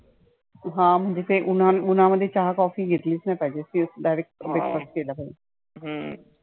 हा म्हणजे ते उन्हा उन्हामध्ये चहा coffee घेतलीच नाही पाहिजे तेच direct